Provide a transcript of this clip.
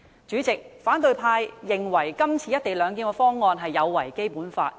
主席，反對派認為今次的"一地兩檢"方案有違《基本法》。